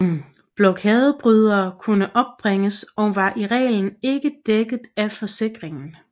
Blokadebrydere kunne opbringes og var i reglen ikke dækket af forsikring